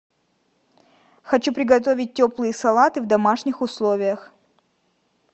хочу приготовить теплые салаты в домашних условиях